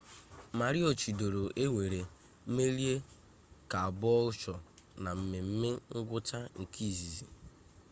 maroochidore ewere merie caboolture na mmeme ngwụcha nke izizi